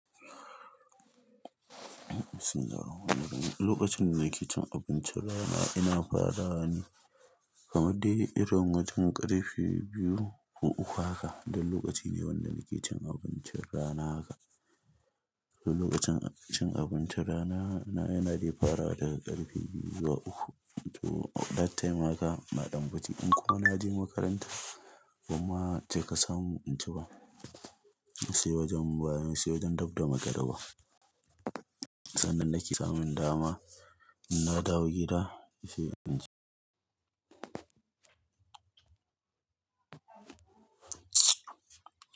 Suna. Lokacin da nake cin abincin rana ina farawa ne kamar dai irin wajen ƙarfe biyu ko uku haka. Dan lokaci ne wanda nake cin abincin rana haka. Dan lokacin cin abincin rana na yana dai farawa daga ƙarfe biyu zuwa uku. To that time haka na ɗan fi ci in kuwa na je makaranta kuma sai ka samu in ci ba. Sai wajen baya, sai wajen gabda magariba. Sannan nake samun dama in na dawo gida sai in ci.